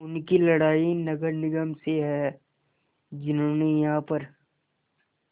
उनकी लड़ाई नगर निगम से है जिन्होंने यहाँ पर